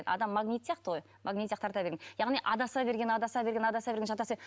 адам магнит сияқты ғой магнит сияқты тарта берген яғни адаса берген адаса берген адаса берген